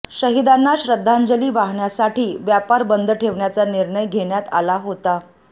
शहिदांना श्रद्धांजली वाहण्यासाठी व्यापार बंद ठेवण्याचा निर्णय घेण्यात आला होता